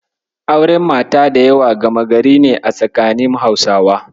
Auren mata da yawa gama gari ne a tsakanin Hausawa.